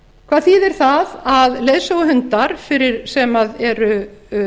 hvað þýðir það að leiðsöguhundar sem eru